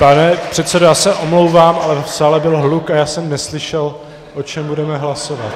Pane předsedo, já se omlouvám, ale v sále byl hluk a já jsem neslyšel, o čem budeme hlasovat.